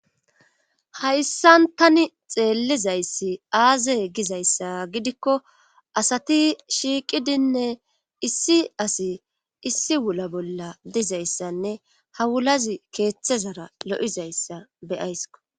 hayssan tani xeellizayssi aaze gizayssa gidikko asati shiiqidinne issi asi issi wula bolla dizayssanne hawulazi keeththezara lo7izayssa beyaysko